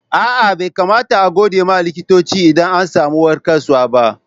Aa, Bai kamata a'gode ma likitoci idan an samu warkaswa ba.